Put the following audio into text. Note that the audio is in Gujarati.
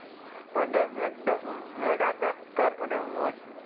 અને મેડા કાસ્કર અને